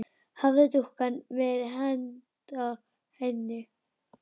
Hafði dúkkan verið handa henni?